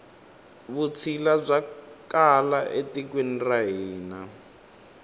vutshila bya kala e tikweni ra hina